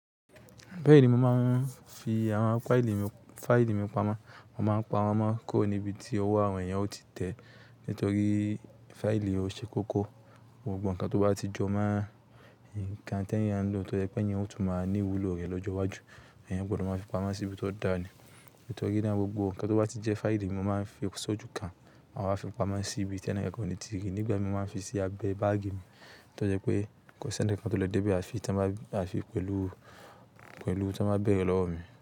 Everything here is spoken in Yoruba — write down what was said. Bẹ́ẹ̀ ni mo máa ń fi àwọn fáìlì. Faili mi pamọ́. Mo máa ń pa wọ́n mọ́ kó níbi tí owó àwọn èèyàn ó ti tẹ̀. Nítorí fáìlì ò ṣe kókó, gbogbo nǹkan tó bá ti jọ máa ń, ǹkan tẹ́ẹ̀ yẹn ló tọ́ jẹ́ pé èèyàn yóò tún máa ní ìwúlò rẹ̀ lọ́jọ́ iwájú. Èèyàn gbọdọ̀ máa fi pamọ́ sí ibi tó dà ju. Nítorí na gbogbo nǹkan tó bá ti jẹ́ fáìlì ní mo máa ń fi sójú kan, màá wa fi pamọ́ sí ibi tí ẹnìkan kò ní ti rí. Nígbà mí máa ń fi sí abẹ bágì mi, tí ó jẹ́ pé kò sí ẹnìkan tó lè dé ibi àfi tí wọ́n bá, àfi pẹ̀lú, pẹ̀lú tí wọ́n bá bẹ̀rẹ̀ lọ́wọ́ mi.